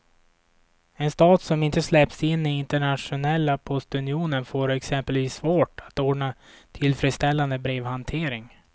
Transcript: En stat som inte släpps in i internationella postunionen får exempelvis svårt att ordna tillfredsställande brevhantering.